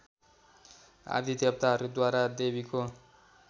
आदि देवताहरूद्वारा देवीको